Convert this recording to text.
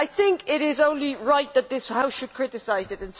I think it is only right that this House should criticise it.